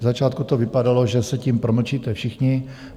V začátku to vypadalo, že se tím promlčíte všichni.